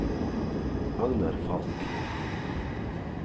Agnar Falch